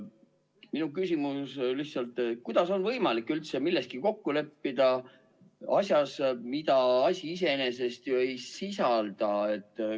Minu küsimus on: kuidas on võimalik üldse kokku leppida asjas, mida asi iseenesest ei sisalda?